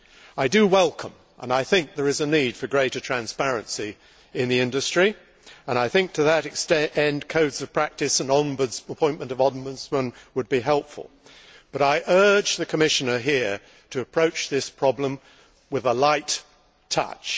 I do welcome, and believe there is a need for, greater transparency in the industry and I think, to that end, codes of practice and the appointment of ombudsmen would be helpful, but I urge the Commissioner here to approach this problem with a light touch.